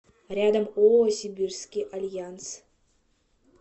рядом ооо сибирский альянс